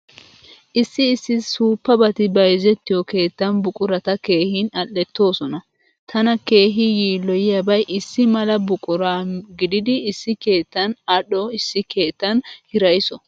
Issi issi suuppabati bayzettiyoo keettan buqurata keehin adhdhettoosona. Tana keehi yiilloyiyaabay issi mala buqura gididi issi keettan adhdho issi keettan hirayso.